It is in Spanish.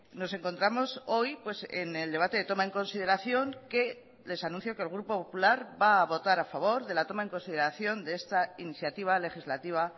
nos encontramos hoy en el debate de toma en consideración que les anuncio que el grupo popular va a votar a favor de la toma en consideración de esta iniciativa legislativa